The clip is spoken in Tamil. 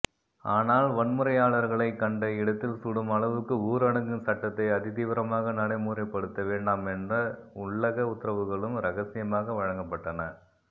ஆனால் வன்முறையாளர்களை கண்ட இடத்தில் சுடும் அளவுக்கு ஊரடங்கு சட்டத்தை அதிதீவிரமாக நடைமுறைப்படுத்த வேண்டாமென்ற உள்ளக உத்தரவுகளும் இரகசியமாக வழங்கப்பட்டன